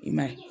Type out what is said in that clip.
I ma ye